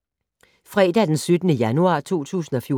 Fredag d. 17. januar 2014